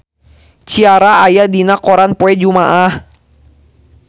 Ciara aya dina koran poe Jumaah